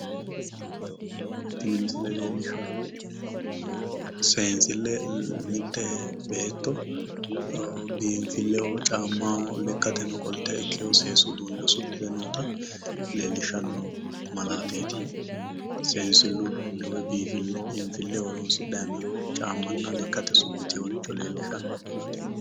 Tini misile leellishshahu seensille mitte beetto biinfilleho caammaho lekkateno qolte ikkeyo seesu uduunne usudhite noota leellishano malaateeti. Seensillu uduunne woyi biinfilleho horoonsidhayi noo caammanna lekkate usudhiteyoricho leellishanno.